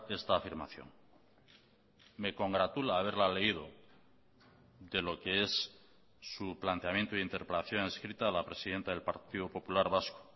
esta afirmación me congratula haberla leído de lo que es su planteamiento de interpelación escrita a la presidenta del partido popular vasco